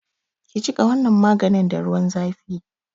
Ki jiƙa wannan maganin da ruwan zafi!